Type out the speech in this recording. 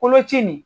Koloci nin